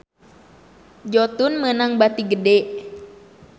Jotun meunang bati gede